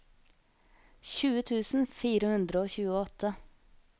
tjue tusen fire hundre og tjueåtte